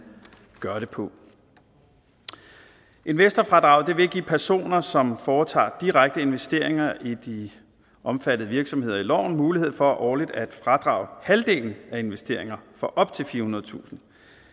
gør det på investorfradraget vil give personer som foretager direkte investeringer i de omfattede virksomheder i loven mulighed for årligt at fradrage halvdelen af investeringer for op til firehundredetusind